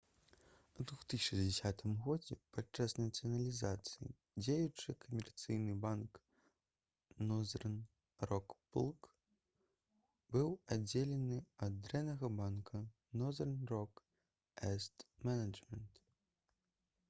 у 2010 годзе падчас нацыяналізацыі дзеючы камерцыйны банк «нозэрн рок плк» быў аддзелены ад «дрэннага банка» «нозэрн рок эсет менеджмент»